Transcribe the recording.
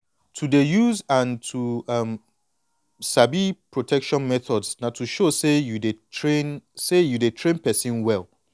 to dey use protection and to um sabi protection methods na to show say dey train say dey train person well